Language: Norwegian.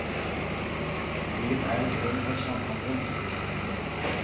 Byen er et rom for samhandling.